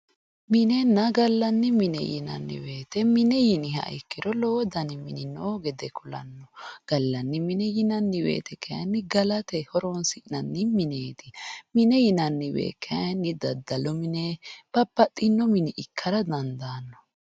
minenna gallanni mine yinanni wote lowo dani mini noo gede kulanno gallanni m9ne yinanni wote kayiinni galate horonsi'nanni mineeti mine yinanni wote kayiinni daddalu mine babbaxino mine ikkara dandaanno.